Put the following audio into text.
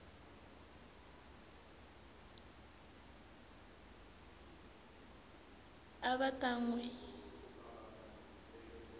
a va ta n wi